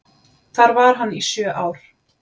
Þar var hann í sjö ár.